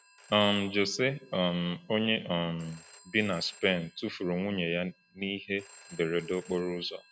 um José, um onye um bi na Spen, tufuru nwunye ya n’ihe mberede okporo ụzọ.